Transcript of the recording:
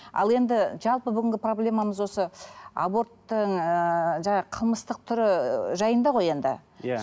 ал енді жалпы бүгінгі проблемамыз осы аборттың ыыы қылмыстық түрі жайында ғой енді иә